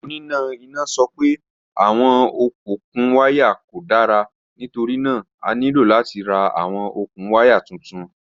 Onina ina sọ pe awọn okun waya ko dara nitorina a nilo lati ra awọn okun waya tuntun.